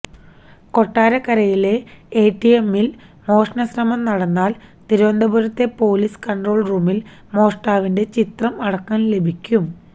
കൊട്ടാരക്കരയിലെ എടിഎമ്മിൽ മോഷണശ്രമം നടന്നാൽ തിരുവനന്തപുരത്തെ പൊലീസ് കൺട്രോൾ റൂമിൽ മോഷ്ടാവിന്റെ ചിത്രം അടക്കം ലഭിക്കും